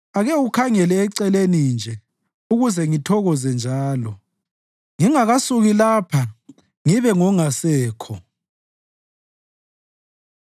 Ake ukhangele eceleni nje ukuze ngithokoze njalo, ngingakasuki lapha ngibe ngongasekho.”